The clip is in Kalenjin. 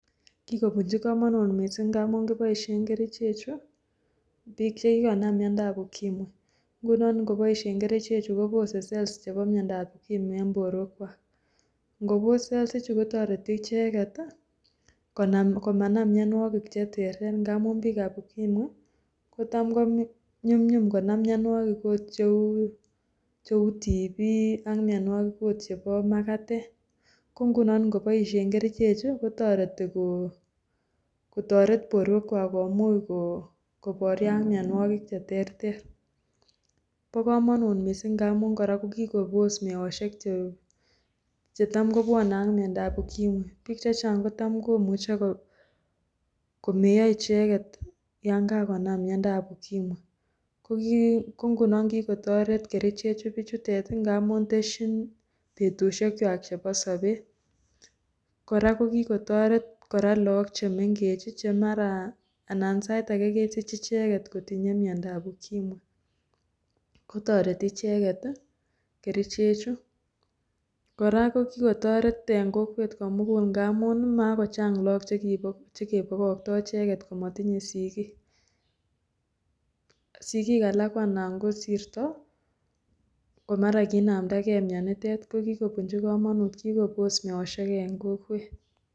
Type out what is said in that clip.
Kikobunchi komonut mising amun kiboishen kerichechu biikchekikonam miondab ukimwi ng'unon ng'iboishen kerichechu kobose cells chebo miondab ukimwi en borwekwak, ng'obos cells kotoreti icheket komanam mionwokik cheterter ng'amun biikab ukimwi kotam ko nyumnyum konam mionwokik oot cheuu TB ak mionwokik oot chebo makatet, ko ng'unon ng'iboishen kerichechu kotoreti kotoret borwekwak komuch koborio ak mionwokik cheterter, bokomonut mising ng'amun kora kikobos meoshek chetam kobwone ak miondab ukimwi, biik chechang kotam komuche ko komeyo icheket yoon kakonam miondab ukimwi, ko ng'unon kikotoret bichutet kerichechotet ng'amun tesyin betushekwak chebo sobeet, kora kikotoret look chemeng'ech chemara anan saet akee kesich icheket kotinye miondab ukimwi kotoreti icheket kerichechu, kora ko kikotoret en kokwet komukul ng'amun makochang look chekebokokto icheket komotinye sikiik, sikiik alak ko anan kosirto komara kinamndake mionitet, ko kikobunchi komonut, kikobos meoshek en kokwet.